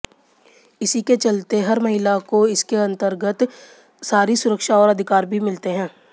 इसी के चलते हर महिला को इसके अंतरगत सारी सुरक्षा और अधिकार भी मिलते हैं